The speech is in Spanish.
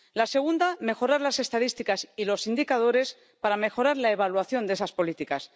La segunda, mejorar las estadísticas y los indicadores para mejorar la evaluación de esas políticas.